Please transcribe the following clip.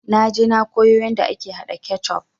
Naje na koyo yanda ake haɗa kecuf